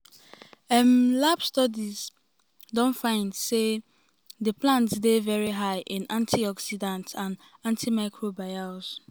um lab studies um don find say find say di plants dey high in antioxidants and antimicrobials.